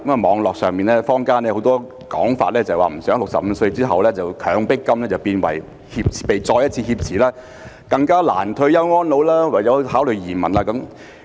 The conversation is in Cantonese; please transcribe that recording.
網絡上、坊間很多說法表示不希望在65歲後"強迫金"被再一次挾持，令市民更難退休安老，唯有考慮移民。